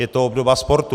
Je to obdoba sportu.